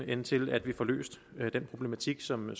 end til at vi får løst den problematik som jo